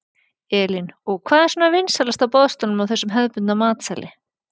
Elín: Og hvað er svona vinsælast á boðstólum á þessum hefðbundna matseðli?